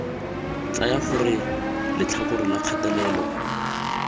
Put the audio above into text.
tsaya gore letlhakore la kgatelelo